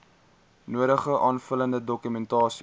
nodige aanvullende dokumentasie